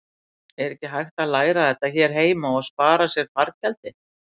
Er ekki hægt að læra þetta hér heima og spara sér fargjaldið?